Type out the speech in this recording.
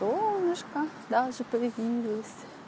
солнышко даже появились